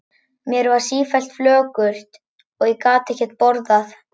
Mér var sífellt flökurt og ég gat ekkert borðað.